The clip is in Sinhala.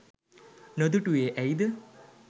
නොදුටුවේ ඇයිද